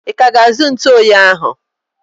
I ka ga-azu ntụ oyi ahụ?